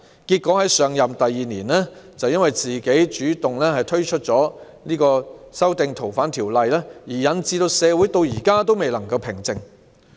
結果她在上任第二年便主動提出修訂《逃犯條例》，令社會至今未能平靜。